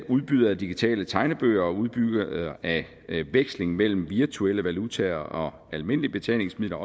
udbydere af digitale tegnebøger og udbydere af veksling mellem virtuelle valutaer og almindelige betalingsmidler